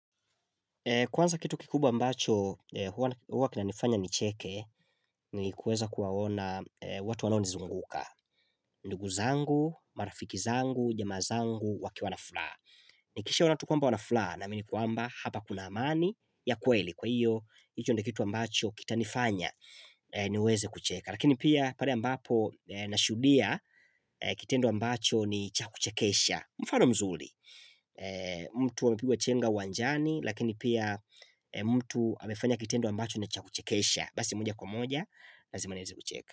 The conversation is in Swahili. Kwanza kitu kikubwa ambacho, huwa kinanifanya nicheke ni kuweza kuwaona watu wanaonizunguka. Ndugu zangu, marafiki zangu, jamaa zangu, wakiwa na furaha. Nikishaona tu kwamba wana furaha naamini kwamba hapa kuna amani ya kweli. Kwa hiyo, hicho ndio kitu ambacho kitanifanya niweze kucheka. Lakini pia pale ambapo nashuhudia kitendo ambacho ni cha kuchekesha. Mfano mzuri. Mtu amepigwa chenga uwanjani Lakini pia mtu amefanya kitendo ambacho ni cha kuchekesha Basi moja kwa moja lazima nianze kucheka.